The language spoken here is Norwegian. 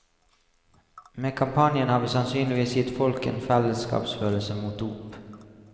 Med kampanjen har vi sannsynligvis gitt folk en fellesskapsfølelse mot dop.